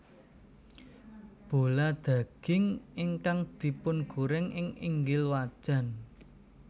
Bola daging ingkang dipungoreng ing inggil wajan